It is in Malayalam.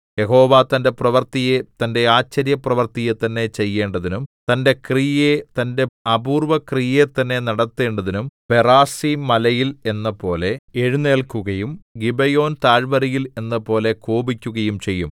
യഹോവ തന്റെ പ്രവൃത്തിയെ തന്റെ ആശ്ചര്യപ്രവൃത്തിയെ തന്നെ ചെയ്യേണ്ടതിനും തന്റെ ക്രിയയെ തന്റെ അപൂർവ്വക്രിയയെ തന്നെ നടത്തേണ്ടതിനും പെറാസീംമലയിൽ എന്നപോലെ എഴുന്നേല്ക്കുകയും ഗിബെയോൻതാഴ്വരയിൽ എന്നപോലെ കോപിക്കുകയും ചെയ്യും